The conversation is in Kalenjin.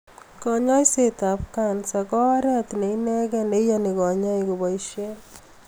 Kanyaiset ap kansa ko oret ne inekee ne iyani konyoik kepaishe